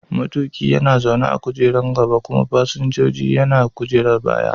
Matuƙi yana zaune a kujerar gaba kuma fasinja yana zaune a kujerar baya.